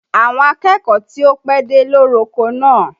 Àwọn akẹ́kọ̀ọ́ ti ó pẹ́dé ló roko náà